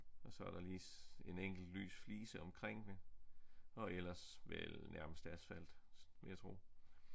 Og så er der lige en enkelt lys flise omkring og ellers vel nærmest asfalt vil jeg tro